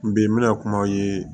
N bi n bɛna kumaw ye